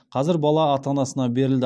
қазір бала ата анасына берілді